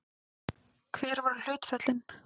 Hver voru hlutföllin?